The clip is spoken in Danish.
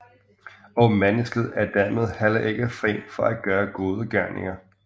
Og mennesket er dermed heller ikke fri til at gøre gode gerninger